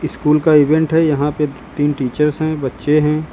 School का event है यहां पे तीन टीचर्स हैं बच्चे हैं।